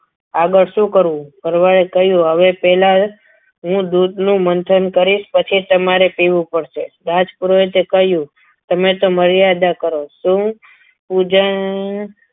આગળ શું કરવું હવે પહેલાં હું દૂધનું મંથન કરીશ પછી તમારી પીવું પડશે રાજ પુરોહિતે કહ્યું તમે તો મર્યાદા કરો છો શું